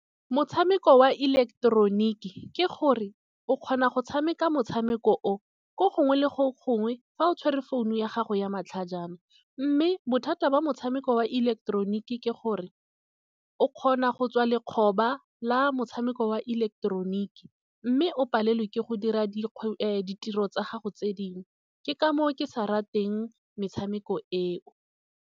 Motshameko wa ileketeroniki ke gore o kgona go tshameka motshameko o ko gongwe le go gongwe fa o tshwere founu ya gago ya matlhajana. Mme bothata ba motshameko wa ileketeroniki ke gore o kgona go tswa lekgoba la motshameko wa ileketeroniki. Mme o palelwe ke go dira ditiro tsa gago tse dingwe ke ka moo ke sa rateng metshameko eo.